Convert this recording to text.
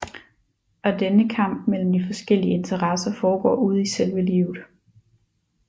Og denne kamp mellem de forskellige Interesser foregår ude i selve livet